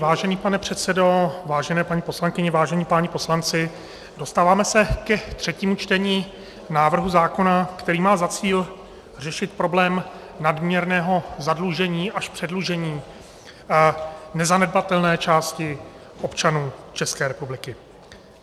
Vážený pane předsedo, vážené paní poslankyně, vážení páni poslanci, dostáváme se ke třetímu čtení návrhu zákona, který má za cíl řešit problém nadměrného zadlužení až předlužení nezanedbatelné části občanů České republiky.